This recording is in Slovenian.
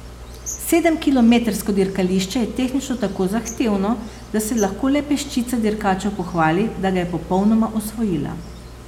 Sedemkilometrsko dirkališče je tehnično tako zahtevno, da se lahko le peščica dirkačev pohvali, da ga je popolnoma osvojila.